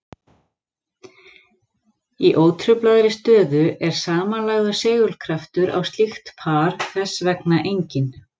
Í ótruflaðri stöðu er samanlagður segulkraftur á slíkt par þess vegna enginn.